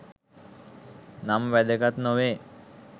නම් වැදගත් නොවේ